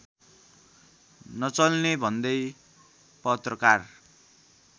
नचल्ने भन्दै पत्रकार